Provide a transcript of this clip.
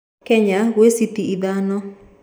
Kenya gwĩ cĩtĩ ithano